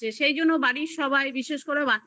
সে জন্য বাড়ির সবাই বিশেষ করে বাচ্চারা